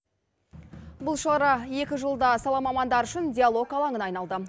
бұл шара екі жылда сала мамандары үшін диалог алаңына айналды